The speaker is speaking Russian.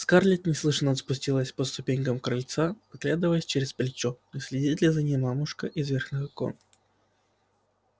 скарлетт неслышно спустилась по ступенькам крыльца оглядываясь через плечо не следит ли за ней мамушка из верхних окон